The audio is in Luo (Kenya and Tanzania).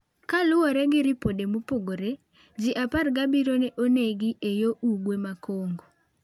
Kaluwore gi ripode mopogore, ji 17 ne onegi e yo ugwe ma Congo .